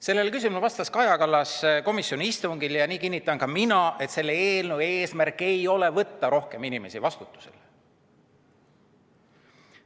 Sellele küsimusele vastas Kaja Kallas komisjoni istungil ja nii kinnitan ka mina, et selle eelnõu eesmärk ei ole võtta rohkem inimesi vastutusele.